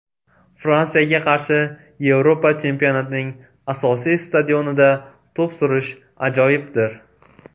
Fransiyaga qarshi Yevropa chempionatining asosiy stadionida to‘p surish ajoyibdir.